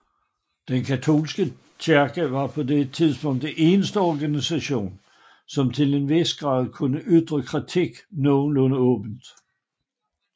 Den katolske kirke var på denne tid den eneste organisation som til en vis grad kunne ytre kritik nogenlunde åbent